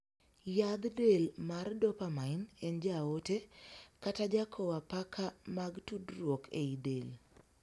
Yadh del mar 'dopamine' en jaote, kata jakow apaka mag tudruok ei del.